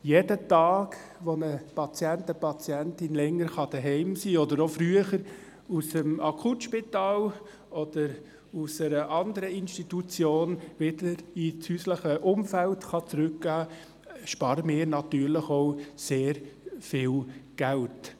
Jeden Tag, an dem eine Patientin, ein Patient länger zu Hause sein kann oder auch früher aus dem Akutspital oder aus einer anderen Institution wieder ins häusliche Umfeld zurückkehren kann, sparen wir natürlich auch sehr viel Geld.